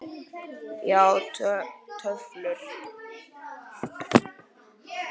Já, töflur.